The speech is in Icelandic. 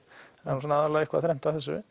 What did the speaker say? það er svona aðallega eitthvað þrennt að þessu